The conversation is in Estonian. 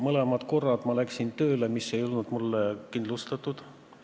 Mõlemad korrad ma läksin töökohale, mis ei olnud mulle kindlustatud.